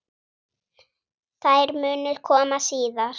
Þær munu koma síðar.